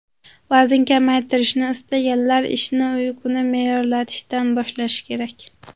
Vazn kamaytirishni istaganlar ishni uyquni me’yorlashtirishdan boshlashi kerak.